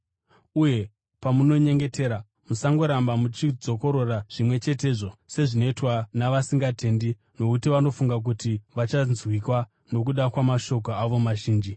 Uye pamunonyengetera, musangoramba muchidzokorora zvimwe chetezvo sezvinoitwa navasingatendi nokuti vanofunga kuti vachanzwikwa nokuda kwamashoko avo mazhinji.